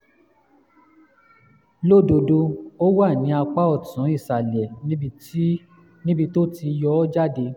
lódodo ó wà ní apá ọ̀tún ìsàlẹ̀ níbi tó ti yọ ọ́ jáde